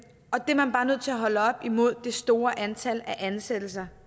og det er man bare nødt til at holde op imod det store antal ansættelser